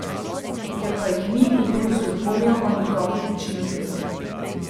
Ker pa jih ni, v Bruslju dvomijo o njegovem načinu dela.